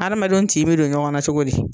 Adamadenw tin bɛ don ɲɔgɔnna cogo di?